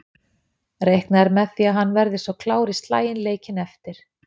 Reiknað er með því að hann verði svo klár í slaginn leikinn eftir.